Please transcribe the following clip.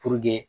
Puruke